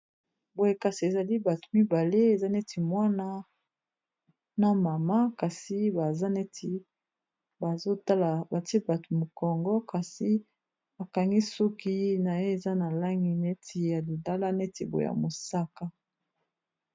Boye kasi ezali bato mibale, eza neti mwana na mama, kasi bapesi biso mokongo, kasi mwasi wana akangi suki na ye eza na langi neti ya lilala, neti boye ya mosaka.